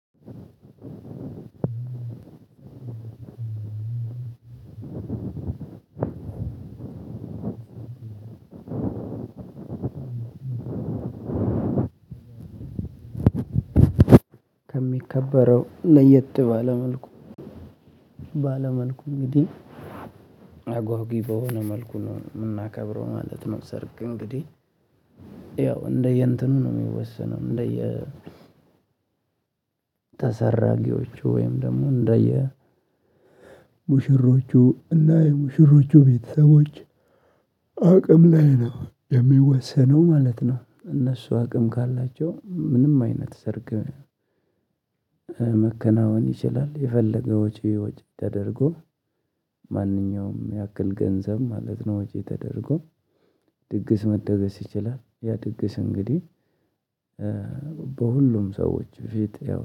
አንድ ከሚከበረው ለየጥ ባለ መልኩ ባለ መልኩ እንግዲህ አጓጊ በሆነ መልኩ ነው የምናከብረው ማለት ነው። ሰርግ እንግዲህ ያው እንደየእንትኑ ነው የሚወሰነው። እንደየ ተሰራጊዎቹ ወይም ደግሞ እንደየ ሙሽሮቹ እና የሙሽሮቹ ቤተሰቦች አቅም ላይ ነው የሚወሰነው ማለት ነው። እነሱ አቅም ካላቸው ምንም አይነት ሰርግ መከናወን ይችላል። የፈለገው ወጪ ወጪ ተደርጎ ማንኛውም ያክል ገንዘብ ማለት ነው። ወጪ ተደርጎ ድግስ መደገስ ይችላል። ያ ድግስ እንግዲህ በሁሉም ሰዎች ፊት ያው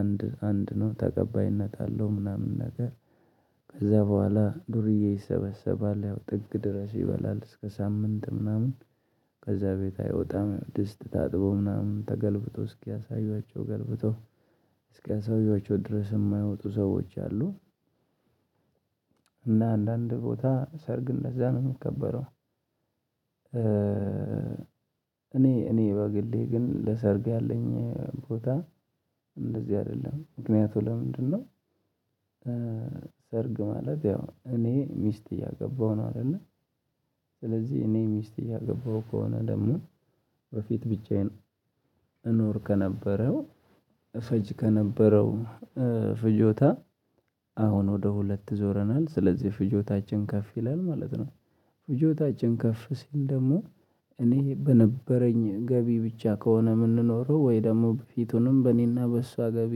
አንድ አንድ ነው ተቀባይነት አለው ምናምን ነገር። ከዛ በኋላ ዱርዬ ይሰበሰባል ያው ጥግ ድረስ ይበላል እስከ ሳምንት ምናምን ከዛ ቤት አይወጣም ድስት ታጥቦ ምናምን ተገልብጦ እስኪያሳዩዋቸው ገልብቶ እስኪያሳዩዋቸው ድረስ የማይወጡ ሰዎች አሉ። እና አንዳንድ ቦታ ሰርግን ለዛ ነው የሚከበረው። እኔ እኔ በግሌ ግን ለሰርግ ያለኝ ቦታ እንደዚህ አይደለም ምክንያቱ ለምንድነው? ሰርግ ማለት ያው እኔ ሚስት እያገባሁ ነው አይደለ። ስለዚህ እኔ ሚስት እያገባሁ ከሆነ ደግሞ በፊት ብቻዬን እኖር ከነበረው እፈጅ ከነበረው ፍጆታ አሁን ወደ ሁለት ዞረናል ስለዚህ ፍጆታችን ከፍ ይላል ማለት ነው። ፍጆታችን ከፍ ሲል ደግሞ እኔ በነበረኝ ገቢ ብቻ ከሆነ የምንኖረው ወይ ደግሞ ፊቱንም በእኔና በእሷ ገቢ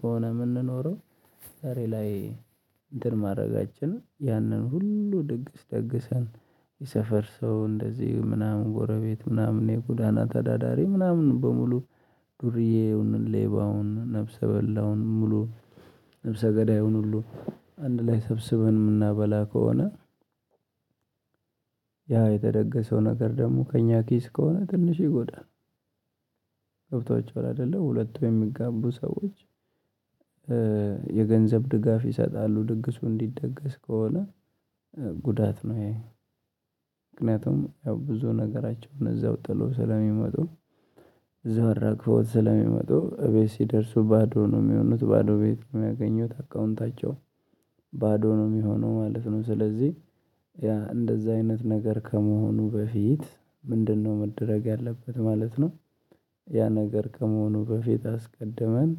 ከሆነ የምንኖረው። ዛሬ ላይ እንትን ማድረጋችን ያንን ሁሉ ድግስ ደግሰን የሰፈር ሰው እንደዚህ ምናምን ጎረቤት ምናምን የጉዳና ተዳዳሪ ምናምን በሙሉ ዱርዬውን ሌባውን ነፍሰ በላውን ሙሉ ነፍሰ ገዳዩን ሁሉ አንድ ላይ ሰብስበን የምናበላ ከሆነ። ያ የተደገሰው ነገር ደግሞ ከእኛ ኪስ ከሆነ ትንሽ ይጎዳል። ገብታቹዋል አይደለ ሁለቱ የሚጋቡ ሰዎች። የገንዘብ ድጋፍ ይሰጣሉ ድግሱ እንዲደገስ ከሆነ። ጉዳት ነው ይሄ። ምክንያቱም ያው ብዙ ነገራቸውን እዛው ጥሎ ስለሚመጡ። እዛው አራግፈውት ስለሚመጡ እቤት ሲደርሱ ባዶ ነው የሚሆኑት ባዶ ቤት የሚያገኙት አካውንታቸው ባዶ ነው የሚሆነው ማለት ነው። ስለዚህ እንደዛ አይነት ነገር ከመሆኑ በፊት ምንድነው መደረግ ያለበት ማለት ነው። ያ ነገር ከመሆኑ በፊት አስቀድመን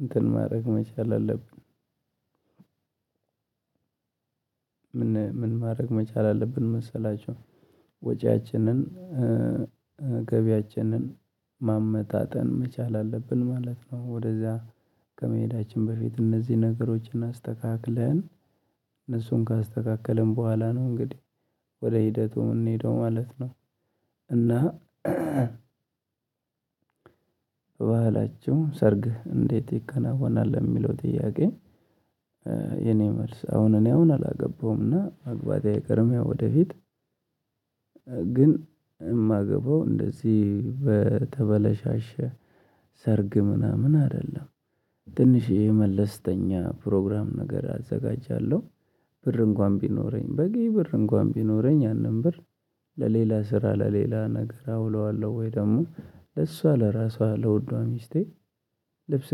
እንትን ማድረግ መቻል አለብን። ምን ማድረግ መቻል አለብን መሰላችሁ? ወጪያችንን ገቢያችንን ማመጣጠን መቻል አለብን ማለት ነው። ወደዛ ከመሄዳችን በፊት እነዚህ ነገሮችን አስተካክለን እነሱን ካስተካከለን በኋላ ነው እንግዲህ ወደ ሂደቱ እንሄደው ማለት ነው። እና ባህላችሁ ሰርግ እንዴት ይከናወናል ለሚለው ጥያቄ። የኔ መልስ አሁን እኔ አሁን አላገባውም እና ማግባቴ አይቀም ያው ወደፊት ግን የማገባው እንደዚህ በተበላሸ ሰርግ ምናምን አይደለም። ትንሽ የመለስተኛ ፕሮግራም ነገር አዘጋጃለሁ። ብር እንኳን ቢኖረኝ በቂ ብር እንኳን ቢኖረኝ ያንን ብር ለሌላ ስራ ለሌላ ነገር አውለዋለሁ ወይ ደግሞ ለእሷ ለራሷ ለውዷ ሚስቴ። ልብስ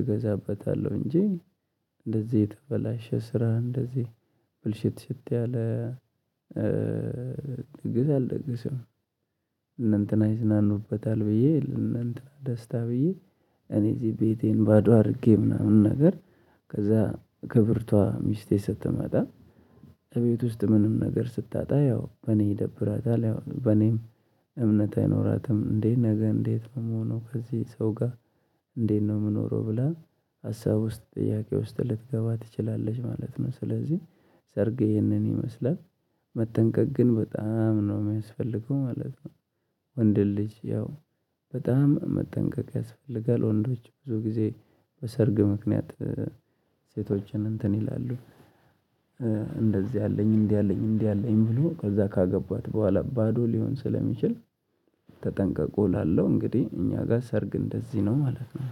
እገዛበታለሁ እንጂ እንደዚህ የተበላሸ ስራ እንደዚህ ብልሽት ሽት ያለ ድግስ አልደግስም። እነእንትና ይዝናኑበታል ብዬ እና ደስታ ብዬ እኔ እዚህ ቤቴን ባዶ አድርጌ ምናምን ነገር ከዛ ክብርቷ ሚስቴ ስትመጣ። እቤት ውስጥ ምንም ነገር ስታጣ ያው በኔ ይደብራታል ያው በኔም እምነት አይኖራትም። እንዴ ነገ እንዴት ነው የምሆነው ከዚህ ሰው ጋር? እንዴት ነው የምኖረው? ብላ ሀሳብ ውስጥ ጥያቄ ውስጥ ልትገባ ትችላለች ማለት ነው። ስለዚህ ሰርግ ይህንን ይመስላል። መጠንቀቅ ግን በጣም ነው የሚያስፈልገው ማለት ነው። ወንድ ልጅ ያው በጣም መጠንቀቅ ያስፈልጋል ወንዶች ብዙ ጊዜ በሰርግ ምክንያት ሴቶችን እንትን ይላሉ። እንደዚህ አለኝ እንዲህ አለኝ እንዲህ አለኝ ብሎ ከዛ ካገባት በኋላ ባዶ ሊሆን ስለሚችል። ተጠንቀቁ ላለው እንግዲህ እኛ ጋር ሰርግ እንደዚህ ነው ማለት ነው።